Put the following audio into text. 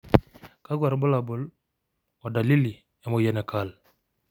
kakwa irbulabol o dalili emoyian e Kyrle?